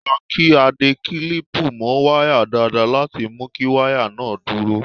Ó dáa kí a de kílípù mọ́ wáyà dáadáa láti mu kí wáyà náà dúró.